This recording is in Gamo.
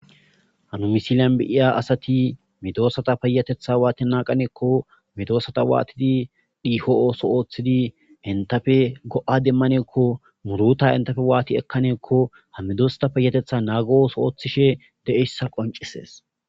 Ha misilen beyiya asati medosata payateththa wati naganako qaneko medosata watidi dhiko ossota othidi entape go'a demaneko muruta entape wati demanako ha medosatape de'oya qonccises